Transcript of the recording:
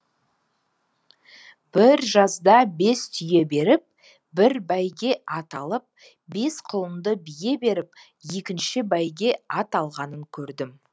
бір жазда бес түйе беріп бір бәйге ат алып бес құлынды бие беріп екінші бәйге ат алғанын көрдім